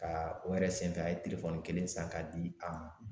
Ka o yɛrɛ senfɛ a ye telefɔni kelen san k'a di a ma